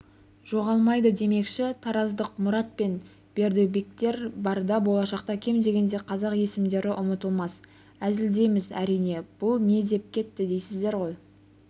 жоғалмайды демекші тараздық мұрат пен бердібектер барда болшақта кем дегенде қазақ есімдері ұмытылмас әзілдейміз әрине бұл не деп кетті дейсіздер ғой